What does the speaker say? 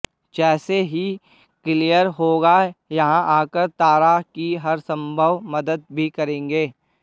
जैसे ही क्लियर होगा यहां आकर तारा की हर संभव मदद भी करेंगे